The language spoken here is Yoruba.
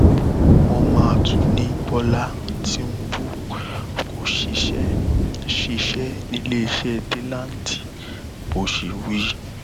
wọn mà tún ní bọlá tìǹbù kó ṣiṣẹ ṣiṣẹ níléeṣẹ delanti bó ṣe wí